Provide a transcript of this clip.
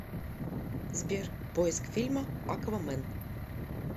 сбер поиск фильма аквамен